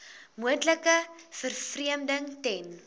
moontlike vervreemding ten